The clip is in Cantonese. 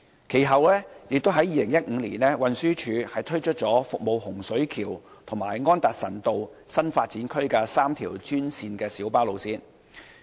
其後在2015年，運輸署推出了服務洪水橋和安達臣道新發展區的3條專線小巴路線。